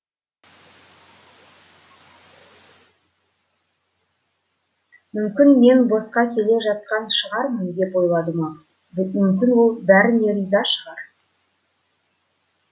мүмкін мен босқа келе жатқан шығармын деп ойлады макс мүмкін ол бәріне риза шығар